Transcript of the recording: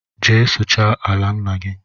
Jee suchaa ala ńnà gị!!